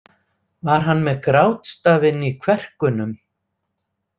Var hann með grátstafinn í kverkunum?